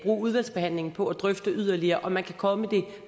udvalgsbehandlingen på at drøfte yderligere om man kan komme det